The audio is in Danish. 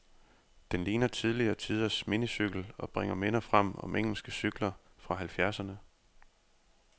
Den ligner tidligere tiders minicykel, og bringer minder frem om engelske cykler fra halvfjerdserne.